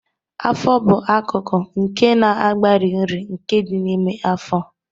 Afọ bụ akụkụ nke na-agbari nri, nke dị n'ime afọ.